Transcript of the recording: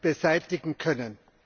beseitigen können.